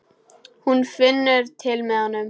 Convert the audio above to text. Hún finnur til með honum.